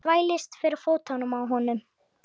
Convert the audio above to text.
Þvælist fyrir fótunum á honum.